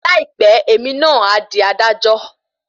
Láìpẹ́ èmi náà a dí adájọ